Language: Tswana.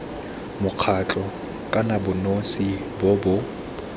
mokgatlho kana bonosi bo bo